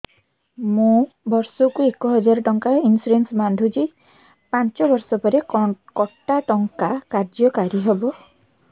ମୁ ବର୍ଷ କୁ ଏକ ହଜାରେ ଟଙ୍କା ଇନ୍ସୁରେନ୍ସ ବାନ୍ଧୁଛି ପାଞ୍ଚ ବର୍ଷ ପରେ କଟା ଟଙ୍କା କାର୍ଯ୍ୟ କାରି ହେବ